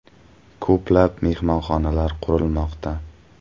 Ko‘plab mehmonxonalar qurilmoqda.